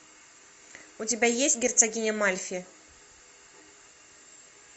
у тебя есть герцогиня мальфи